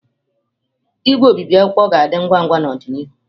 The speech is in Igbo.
Igwe obibi akwụkwọ ga-adị ngwa ngwa n'ọdịnihu.